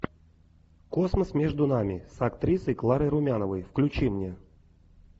космос между нами с актрисой кларой румяновой включи мне